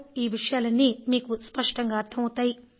ఈ విషయాలన్నీ మీకు స్పష్టంగా అర్థమవుతాయి